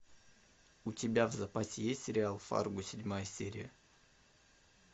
у тебя в запасе есть сериал фарго седьмая серия